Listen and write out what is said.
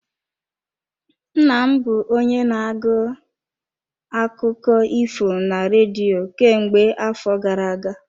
Nna m bụ onye na-agụ akụkọ ifo na redio kemgbe afọ gara aga.